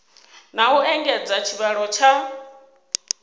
na u engedza tshivhalo tsha